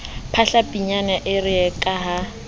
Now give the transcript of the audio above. phahla pinyane ere ka ha